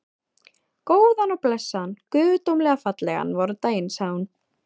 Góðan og blessaðan, guðdómlega fallegan vordaginn, sagði hún.